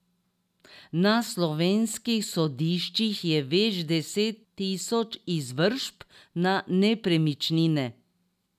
Na slovenskih sodiščih je več deset tisoč izvršb na nepremičnine.